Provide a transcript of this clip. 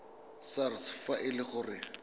sars fa e le gore